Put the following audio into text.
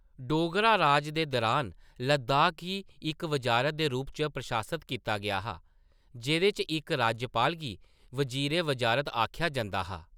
डोगरा राज़ दे दुरान लद्दाख गी इक वज़ारत दे रूप च प्रशासत कीता गेआ हा, जेह्‌‌‌दे च इक राज्यपाल गी वज़ीर-ए-वज़ारत आखेआ जंदा हा।